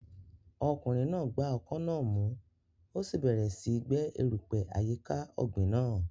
Ọkùnrin náà gba ọkọ́ náà mú, ó sì bẹ̀rẹ̀ síi gbẹ́ erùpẹ̀ àyíká ọ̀gbìn náà.